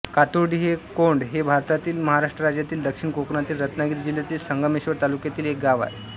कातुर्डी कोंड हे भारतातील महाराष्ट्र राज्यातील दक्षिण कोकणातील रत्नागिरी जिल्ह्यातील संगमेश्वर तालुक्यातील एक गाव आहे